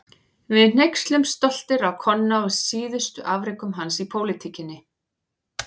Við hneykslumst stoltir á Konna og síðustu afrekum hans í pólitíkinni.